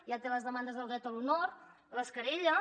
ja té les demandes del dret a l’honor les querelles